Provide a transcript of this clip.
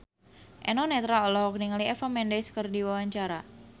Eno Netral olohok ningali Eva Mendes keur diwawancara